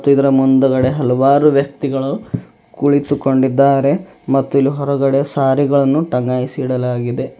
ಇದರ ಮುಂದ್ಗಡೆ ಹಲವಾರು ವ್ಯಕ್ತಿಗಳು ಕುಳಿತುಕೊಂಡಿದ್ದಾರೆ ಮತ್ತು ಇಲ್ಲಿ ಹೊರಗಡೆ ಸಾರಿ ಗಳನ್ನು ಟಗಾಯಿಸಿ ಇಡಲಾಗಿದೆ.